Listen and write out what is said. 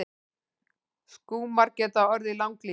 Skúmar geta orðið langlífir.